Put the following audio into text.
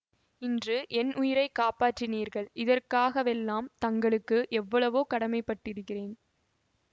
இன்று என் உயிரை காப்பாற்றினீர்கள் இதற்காகவெல்லாம் தங்களுக்கு எவ்வளவோ கடமைப்பட்டிருக்கிறேன்